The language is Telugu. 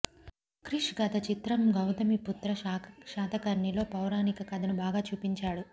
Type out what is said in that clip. క్రిష్ గత చిత్రం గౌతమిపుత్ర శాతకర్ణిలో పౌరాణిక కథను బాగా చూపించాడు